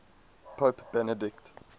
pope benedict